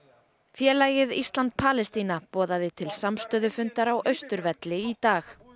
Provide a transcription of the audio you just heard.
félagið Ísland Palestína boðaði til samstöðufundar á Austurvelli í dag